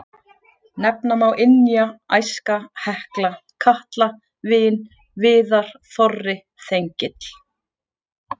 Nefna má Ynja, Æska, Hekla, Katla, Vin, Viðar, Þorri, Þengill.